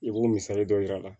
I b'o misali dɔ yir'a la